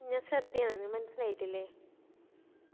ഞാൻ ശ്രദ്ധയാന്ന് മനസ്സിലായിറ്റില്ലേ